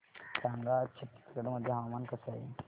सांगा आज छत्तीसगड मध्ये हवामान कसे आहे